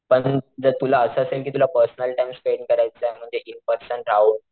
अजून जर तुला असं असेल कि तुला पर्सनल टाइम स्पेंड करायचा म्हणजे इन पर्सन राहून,